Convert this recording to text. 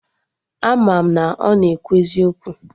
Ama m na ọ na ekwu eziokwu